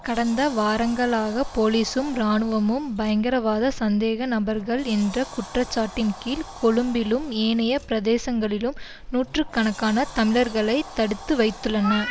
கடந்த வாரங்களாக போலிசும் இராணுவமும் பயங்கரவாத சந்தேக நபர்கள் என்ற குற்றச்சாட்டின் கீழ் கொழும்பிலும் ஏனைய பிரதேசங்களிலும் நூற்று கணக்கான தமிழர்களை தடுத்து வைத்துள்ளன